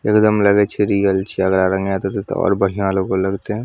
एकदम लगे छै रियल छीये ओकरा रंगा दबे ते और बढ़ियाँ लुग लगते --